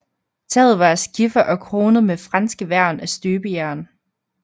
Taget var af skifer og kronet med franske værn af støbejern